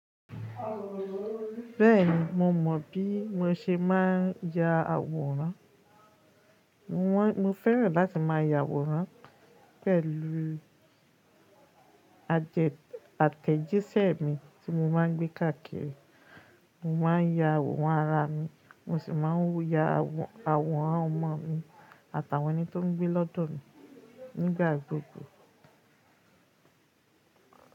Bẹ́ẹ̀ni, mo mọ̀ bí mo ṣe máa ń ya àwòrán. Mo wá-- mo fẹ́ràn láti máa ya àwòrán pẹ̀lú ajẹ-- àtẹ̀jíṣẹ́ mi tí mo máa ń gbé káàkiri. Mo máa ń ya àwòrán ara mi, mo sì máa ń ya àwòrán ọmọ mi àtàwọn ẹni tó ń gbé lọ́dọ̀ mi nígbà gbogbo.